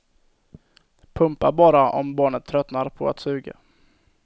Pumpa bara om barnet tröttnar på att suga.